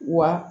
Wa